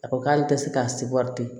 A ko k'ale tɛ se k'a se wari tɛ